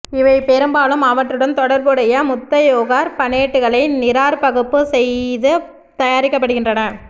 இவை பெரும்பாலும் அவற்றுடன் தொடர்புடைய முத்தையோகார்பனேட்டுகளை நீராற்பகுப்பு செய்து தயாரிக்கப்படுகின்றன